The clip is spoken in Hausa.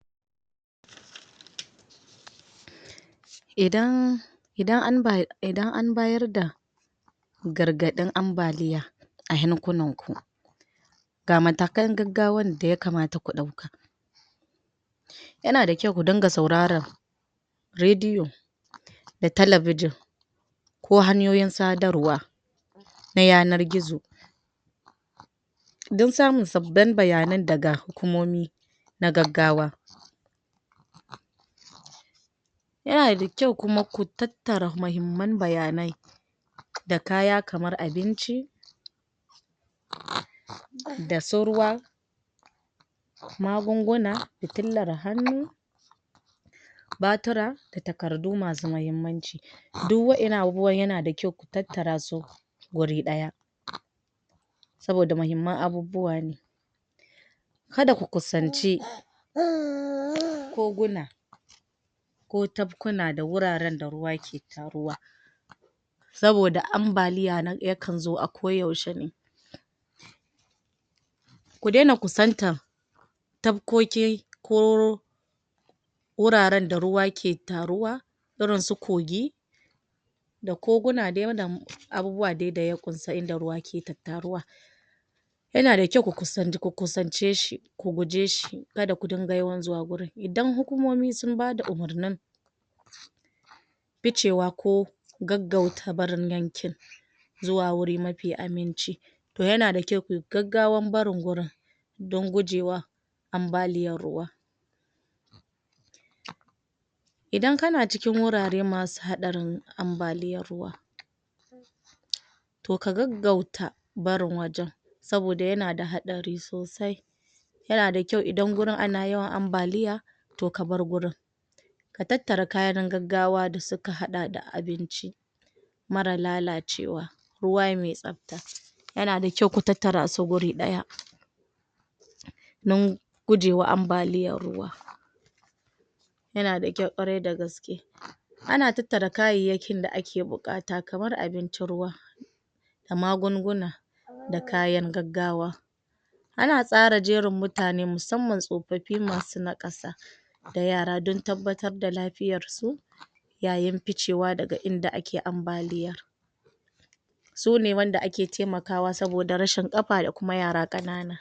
idan idan an idan ambayar da gargadin ambaliya ayan kunan ku ga matakan gaggawan daya kamata ku dauka yana dakyau ku dinka sauraran rediyo da talabijin ko hanyoyin sadarwa na yanar gizo dan samu sabbin baya nan daga hukumomi na gaggawa yana dakyau kuma ku tattara muhimman baya nai da kaya kamar abinci da su ruwa magun guna futirlan hannu batira da takardu masu muhimmanci duk wadan nan abubuwan yana da kyau ku tattara su guri daya saboda muhimman abubuwane kada ku kusance koguna ko tafkuna da wuraren da ruwa ke taruwa saboda ambaliya yakan zo a ko yaushe ne kudena kusantan tafkoki ko wuraren da ruwa ke taruwa irin su kogi da koguna dai da abubuwa wanda ya kunshi inda ruwa yake tattaruwa yana da kyau ku kusance shi ku guje shi kada kudinga yawan zuwa wurin idan hukumomi sun bada umurni ficewa ko gaggauta barin yankin zuwa guri mafi aminci to yana dakyau kuyi gaggawan barin wurin dan gujewa ambaliyan ruwa idan kana cikin wurare masu hadarin ambaliyan ruwa to ka gaggauta barin wajen saboda yana da hadari sosai yana kyau idan gurin ana yawan ambaliya to kabar wurin ka tattara kayan gaggawa da suka hada da abinci mara lalacewa ruwa mai tsafta yana da kyau ku tattara su guri daya don gujewa ambaliyan ruwa yana da kyau korai tagaske ana tattara kayan da ake bukata kamar abinci, ruwa da magunguna da kayan gaggawa ana tsara jerin mutane musamman tsofaffi masu nakasa da yara dan tabbatar da lafiyansu yayin ficewa daga inda ake ambaliya sune wanda ake taimakawa saboda rashin kafa da kuma yara kanana